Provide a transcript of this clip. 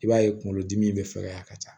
I b'a ye kunkolodimi bɛ fɛkɛya ka ca